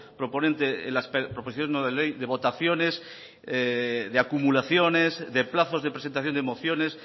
proponente en las proposiciones no de ley de votaciones de acumulaciones de plazos de presentación de mociones